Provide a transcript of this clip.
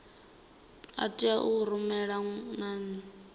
a tea u rumelwa nane